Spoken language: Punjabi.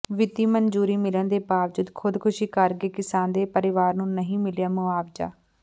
ਵਿੱਤੀ ਮਨਜ਼ੂਰੀ ਮਿਲਣ ਦੇ ਬਾਵਜੂਦ ਖ਼ੁਦਕੁਸ਼ੀ ਕਰ ਗਏ ਕਿਸਾਨ ਦੇ ਪਰਿਵਾਰ ਨੂੰ ਨਹੀਂ ਮਿਲਿਆ ਮੁਆਵਜ਼ਾ